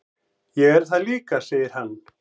"""Ég er það líka, segir hann."""